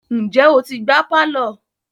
Ǹjẹ́ o ti gbá pálọ̀.